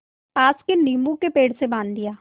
पास के नीबू के पेड़ से बाँध दिया